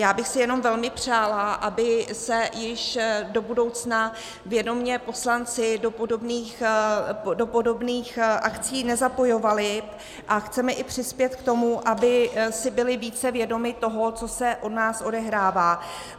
Já bych si jenom velmi přála, aby se již do budoucna vědomě poslanci do podobných akcí nezapojovali, a chceme i přispět k tomu, aby si byli více vědomi toho, co se u nás odehrává.